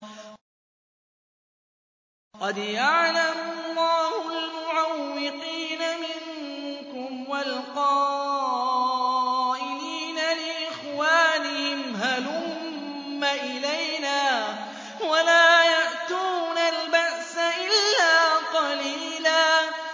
۞ قَدْ يَعْلَمُ اللَّهُ الْمُعَوِّقِينَ مِنكُمْ وَالْقَائِلِينَ لِإِخْوَانِهِمْ هَلُمَّ إِلَيْنَا ۖ وَلَا يَأْتُونَ الْبَأْسَ إِلَّا قَلِيلًا